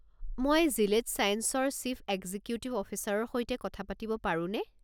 মই জিলেড ছাইন্সেছৰ chief executive অফিচাৰৰ সৈতে কথা পাতিব পাৰোনে?